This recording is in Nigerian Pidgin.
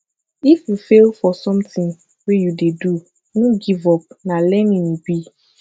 if you fail for something wey you dey do no give up na learning e be